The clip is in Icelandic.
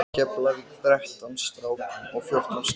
Keflavík, þrettán strákum og fjórtán stelpum.